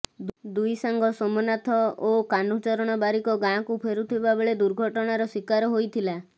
ଦୁଇ ସାଙ୍ଗ ସୋମନାଥ ଓ କାହ୍ନୁଚରଣ ବାରିକ ଗାଁକୁ ଫେରୁଥିବା ବେଳେ ଦୁର୍ଘଟଣାର ଶିକାର ହୋଇଥିଲା